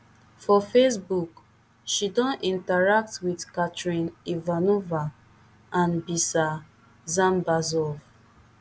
for facebook she don interact wit katrin ivanova and biser dzhambazov